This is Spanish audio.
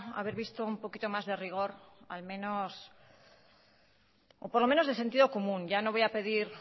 haber visto un poquito más de rigor al menos o por lo menos de sentido común ya no voy a pedir